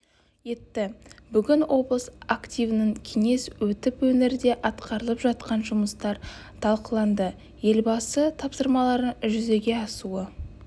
етті бүгін облыс активінің кеңесі өтіп өңірде атқарылып жатқан жұмыстар талқыланды елбасы тапсырмаларының жүзеге асуы